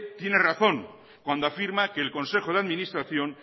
tiene razón cuando afirma que el consejo de administración